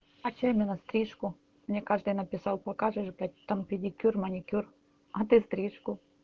а чё именно стрижку мне каждый написал показываешь там педикюр маникюр а ты стрижку